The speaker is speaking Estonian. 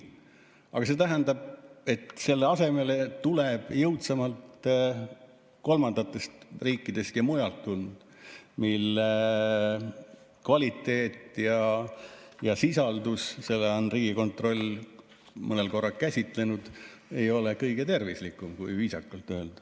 Aga see tähendab, et selle asemele tuleb jõudsamalt kolmandatest riikidest ja mujalt tulnud toit, mille kvaliteeti ja sisaldust on Riigikontroll mõnel korral käsitlenud, ja see ei ole kõige tervislikum, kui viisakalt öelda.